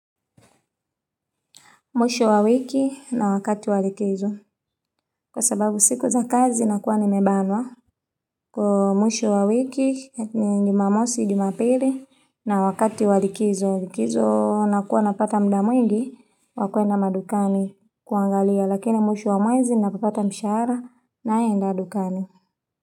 Mwisho wa wiki na wakati wa likizo. Kwa sababu siku za kazi nakuwa nimebanwa. Kwa mwisho wa wiki ni jumamosi, jumapili na wakati wa likizo. Wa likizo nakuwa napata muda mwingi wa kwenda madukani kuangalia. Lakini mwisho wa mwezi napopata mshahara naenda dukani.